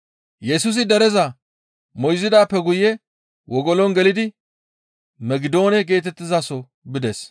Yesusi dereza moyzidaappe guye wogolon gelidi Megidoone geetettizaso bides.